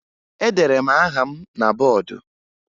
Edere m aha m na bọọdụ